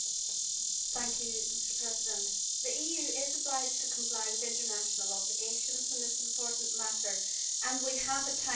Mr President, the EU is obliged to comply with international obligations in this important matter and we have a timetable to meet.